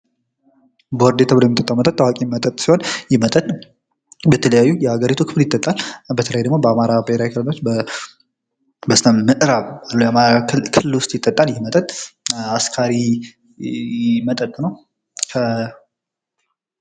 ቦርዴ ተብሎ የሚትጠጣው ታዋቂ መጠጥ ሲሆን ይህ መጠጥ በተለያዩ የአገሪቱ ክፍል ይጠጣል። በተለይ ደግሞ በአማራ ብሔራዊ ክልሎች በስተ ምዕራብ ክልል ዉስጥ ይጠጣል። ይህ መጠጥ አስካሪ መጠጥ ነው።